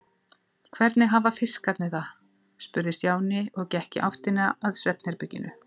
Hvernig hafa fiskarnir það? spurði Stjáni og gekk í áttina að svefnherberginu.